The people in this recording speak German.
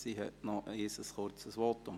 Sie hält noch einmal ein kurzes Votum.